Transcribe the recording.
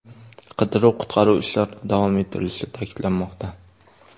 Qidiruv-qutqaruv ishlari davom ettirilishi ta’kidlanmoqda.